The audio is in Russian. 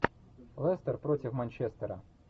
лестер против манчестера